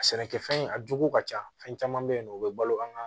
A sɛnɛkɛfɛn a jugu ka ca fɛn caman bɛ yen nɔ o bɛ balo an ka